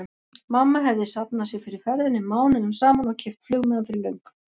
Mamma hefði safnað sér fyrir ferðinni mánuðum saman og keypt flugmiðann fyrir löngu.